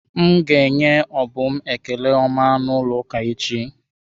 M ga enye Obum ekele ọma n'ụlọ ụka echi.